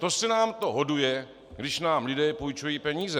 To se nám to hoduje, když nám lidé půjčují peníze.